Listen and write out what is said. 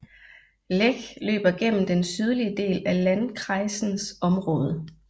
Lech løber gennem den sydøstlige del af landkreisens område